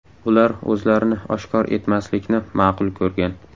Ular o‘zlarini oshkor etmaslikni ma’qul ko‘rgan.